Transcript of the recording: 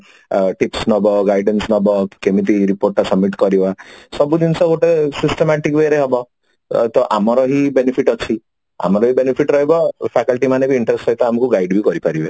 ଆ tips ନବ କି guidance ନବ କେମତି report ତା submit କରିବ ସବୁ ଜିନିଷ ଗୋଟେ systematic way ରେ ହବ ତ ଭମର ହିଁ benefit ଅଛି ଆମର ବି benefit ରହିବ faculty ମାନେ ବି interested ସହିତ ଆମକୁ ଗାଳି ବି କରି ପାରିବେ